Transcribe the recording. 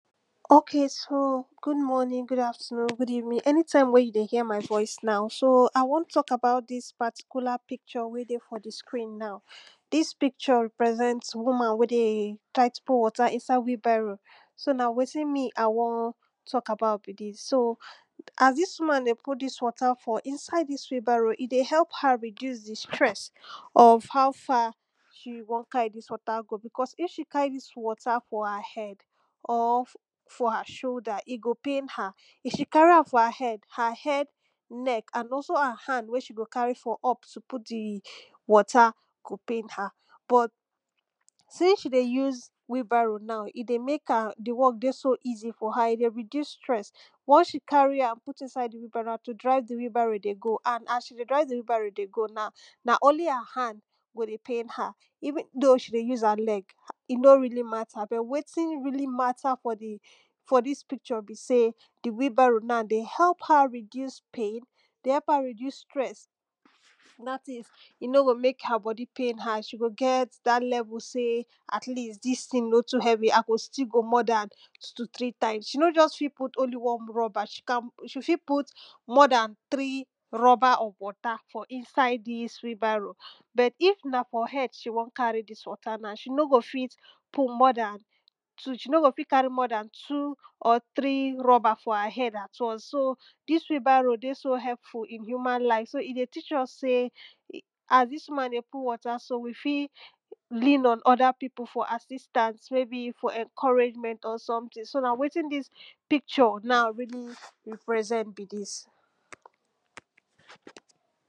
Okay so good morning, good afternoon, good evening, anytime wen you dey hear my voice now, so I wan talk about dis particular picture wey dey for di screen now, so dis picture represent woman wey dey try to put water inside wheelbarrow so na wetin me I wan talk about be dis. So as dis woman dey put dis water for inside dis wheelbarrow e dey help her reduce di stress of how far she wan carry dis water go, because if she carry dis water for her head or for her shoulder, e go pain her. If she carry for her head, her head, neck and also her hand wen she go carry for up to put di water, go pain her but since she dey use wheelbarrow now e dey make di work dey so easy for her, e dey reduce stress, once she carry am inside di wheelbarrow na to drive di wheelbarrow dey go, and as she dey drive di wheelbarrow dey go na na only her hand go pain her. Even though she dey use her leg e no really matter, but wetin really matter for di for dis picture be sey di wheelbarrow na dey help her reduce pain, dey help her reduce stress, dat is e no go pain her and she go get dat level sey, at least dis thing no too heavy I still more dan two to three times, she no fit put just only one rubber, she can she fit more dan three rubber of water for inside dis wheelbarrow. Put if na for head she wan carry dis water now, she no go fit put more dan two she no go fit carry more dan two or three rubber for her head once. So dis wheelbarrow dey so helpful in human life, so e dey teach us sey as dis woman dey put water so, we fit lean on oda people for assistance maybe for encouragement or something so na wetin dis picture now really represent be dis.